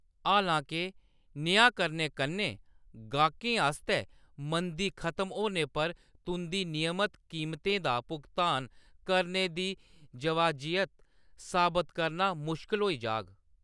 हालां के, नेहा करने कन्नै गाह्‌‌कें आस्तै मंदी खतम होने पर तुंʼदी नियमत कीमतें दा भुगतान करने दी जवाजियत साबत करना मुश्कल होई जाह्‌ग।